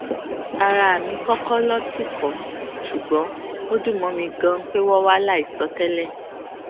ara mi kókó ló tìkò ṣùgbón ó dùn mó mi ganan pé wón wá láìsọ tẹlẹ